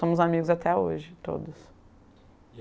Somos amigos até hoje, todas.